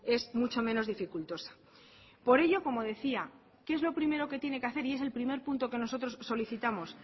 es mucho menos dificultosa por ello como decía qué es lo primero que tiene que hacer y es el primer punto que nosotros solicitamos